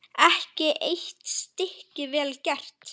Ekki eitt stykki vel gert.